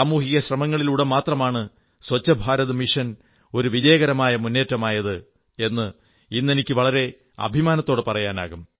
സാമൂഹിക ശ്രമങ്ങളിലൂടെ മാത്രമാണ് സ്വച്ഛ ഭാരത് മിഷൻ ഒരു വിജയകരമായ മുന്നേറ്റമായത് എന്ന് ഇന്നെനിക്ക് വളരെ അഭിമാനത്തോടെ പറയാനാകും